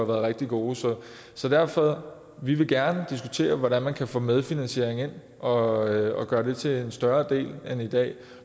været rigtig gode så derfor vil vi gerne diskutere hvordan man kan få medfinansiering ind og gøre det til en større del end i dag